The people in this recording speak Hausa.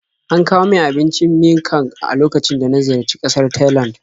An kawo min abincin miang kham a lokacin da na ziyarci ƙasar Thailand.